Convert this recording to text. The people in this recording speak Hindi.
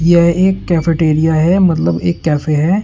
यह एक कैफेटेरिया है मतलब एक कैफे हैं।